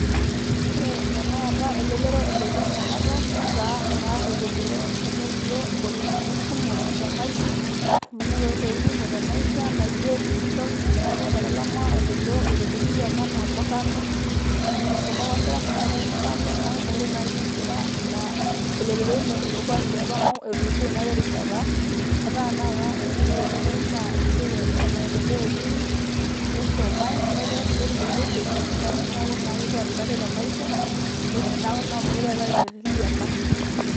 Ore tanakata elelero ebaki ena Kata netaa naa Elelero enotito engolikinot kumok teMaisha. Amu enotoki entokitin' kumok teMaisha naijio dijital, neeku etalama elelero olketerri liopa enaa Murrano amu meisuma apa Nkera neetae murrano neeku meekure tenakata eyieu enkera elelero ilo kuak liopa amu etulusoyie naapa erishata etaa tanakata else ore elelero naa esiai emaendeleo etii neisumae netii kulie siatin esirkali neeku naa kepuo aaret ate te Maisha neeku naa meekure eetae orkerreti liopa.